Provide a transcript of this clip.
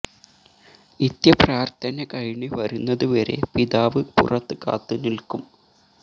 നിത്യ പ്രാര്ത്ഥന കഴിഞ്ഞ് വരുന്നത് വരെ പിതാവ് പുറത്ത് കാത്ത് നില്ക്കും